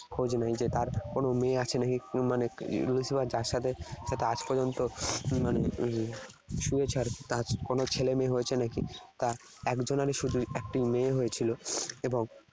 খোঁজ নেয় যে তার কোন মেয়ে আছে নাকি। মানে Lucifer যার সাথে আজ পর্যন্ত মানে হম শুয়েছে আর কি তার কোন ছেলেমেয়ে হয়েছে নাকি। তা একজনার শুধু একটি মেয়ে হয়েছিল এবং